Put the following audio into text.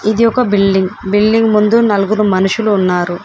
ఇది ఒక building building ముందు నలుగురు మనుషులు ఉన్నారు.